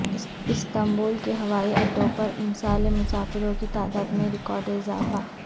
Istanbul کے ہوائی اڈوں پر امسال مسافروں کی تعداد میں ریکارڈ اضافہ